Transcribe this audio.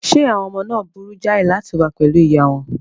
Ṣé àwọn ọmọ náà burú jáì láti wà pẹ̀lú ìyá wọn?